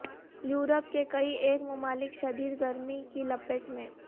Europe کے کئی ایک ممالک شدید گرمی کی لپیٹ میں